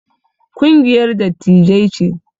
Kungiyar dattijai ce